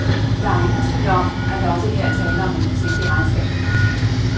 Der er ingen tvivl om, at der også her er tale om en forsigtig regnskabspolitik.